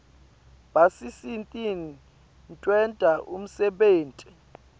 basisitn kwenta umsebenti